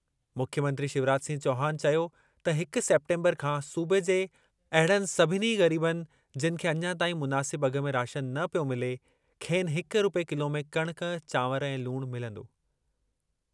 मुख्यमंत्री शिवराज सिंह चौहान चयो त हिक सेप्टेम्बर खां सूबे जे अहिड़नि सभिनी ग़रीबनि जिनि खे अञा ताईं मुनासिब अघ में राशन न पियो मिले, खेनि हिक रूपए किलो में कणक, चांवर ऐं लूण मिलंदो।